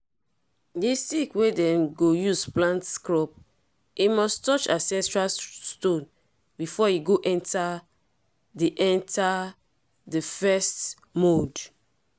di stick wey dem go use plant crop e must touch ancestral stones before e go enter di enter di first mound.